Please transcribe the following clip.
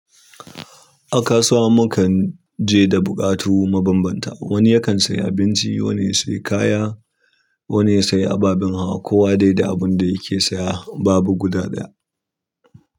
A kasuwa mukan je da buƙatu mabanbanta, wani yakan sayi abinci, wani ya sayi kaya wani ya sayi ababen hawa. Kowa dai da abun da yake saya babu guda ɗaya.